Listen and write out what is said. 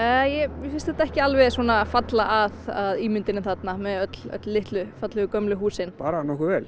mér finnst þetta ekki alveg falla að ímyndinni þarna með öllum litlu gömlu húsin bara nokkuð vel